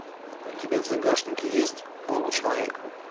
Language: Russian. у тебя в загашнике есть получеловек